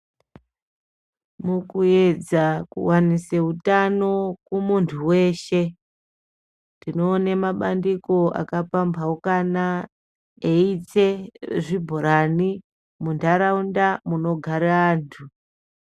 Mukuedza kuvanise hutano kumuntu veshe. Tinoone mabandiko akapambaukana eitse zvibhorani muntaraunda munogara antu.